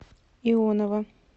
ионова